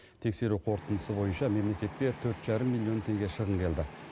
тексеру қорытындысы бойынша мемлекетке төрт жарым миллион теңге шығын келді